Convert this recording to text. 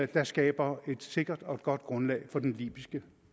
der skaber et sikkert og godt grundlag for den libyske